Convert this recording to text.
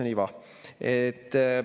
Mis on iva?